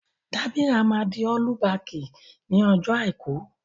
Dábírà máa di ọ́lú bakì ní ọjọ́ Àìkú.